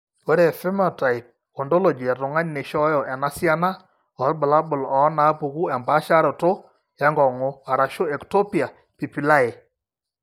Ore ephenotype ontology etung'ani neishooyo enasiana oorbulabul onaapuku empaasharoto enkong'u (eEctopia pupillae).